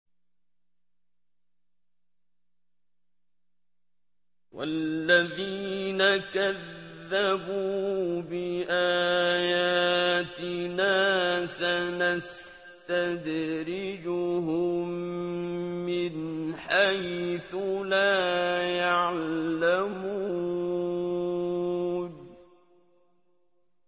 وَالَّذِينَ كَذَّبُوا بِآيَاتِنَا سَنَسْتَدْرِجُهُم مِّنْ حَيْثُ لَا يَعْلَمُونَ